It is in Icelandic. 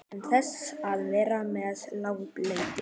Án þess að vera með látalæti.